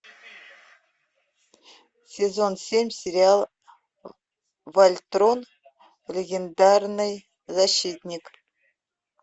сезон семь сериал вольтрон легендарный защитник